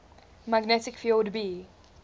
magnetic field b